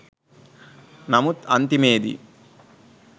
නමුත් අන්තිමේදී